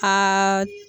Aa